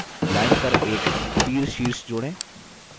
add line पर एक तीरशीर्ष जोड़ें